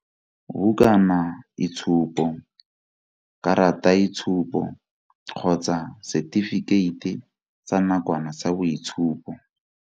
Bukanaitshupo, karataitshupo kgotsa setifikeiti sa nakwana sa boitshupo.